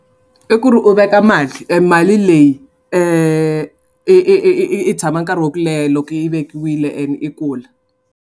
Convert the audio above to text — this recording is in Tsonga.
I ku ri u veka mali e mali leyi i i i i i tshama nkarhi wa ku leha loko yi vekiwile ene i kula.